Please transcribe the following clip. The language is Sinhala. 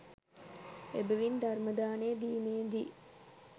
එබැවින් ධර්මදානය දීමේ දී